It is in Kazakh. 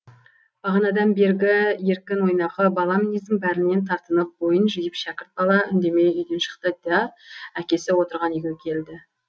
бағанадан бергі еркін ойнақы бала мінездің бәрінен тартынып бойын жиып шәкірт бала үндемей үйден шықты да әкесі отырған үйге келді